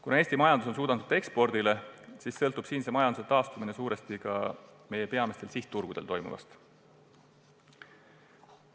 Kuna Eesti majandus on suunatud ekspordile, siis sõltub siinse majanduse taastumine suuresti ka meie peamistel sihtturgudel toimuvast.